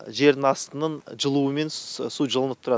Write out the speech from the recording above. жердің астының жылуымен су жылнып тұрады